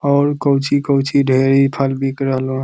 और कौची-कौची ढेरी फल बिक रहलों।